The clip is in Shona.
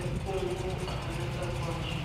epfumbu akanaka kwazvo.